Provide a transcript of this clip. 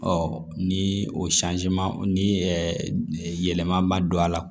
ni o ni yɛlɛman ma don a la